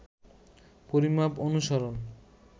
পরিমাপ অনুসরণ